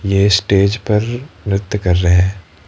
ये स्टेज पर नृत्य कर रहे हैं।